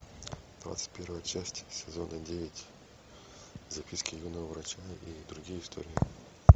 двадцать первая часть сезона девять записки юного врача и другие истории